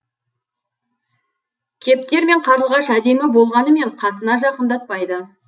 кептер мен қарлығаш әдемі болғанымен қасына жақындатпайды